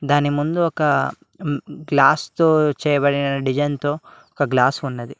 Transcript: దాని ముందు ఒక గ్లాస్ తో చేయబడిన డిజైన్ తో ఒక గ్లాస్ ఉంది.